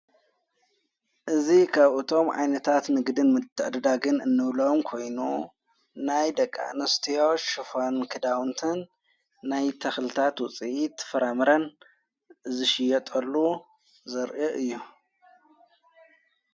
እዝ ኻብኡእቶም ኣይነታት ንግድን ምትድዳግን እንብለዎም ኮይኑ ናይ ደቃንስትዮ ሽፈን ክዳውንትን ናይ ተኽልታት ውፂኢ ትፍራምረን ዝሽየጠሉ ዘርኢ እዮም።